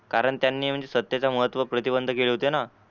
कारण त्यांनी म्हंजे सत्तेचं महत्त्व प्रतिबंध केला होता ना?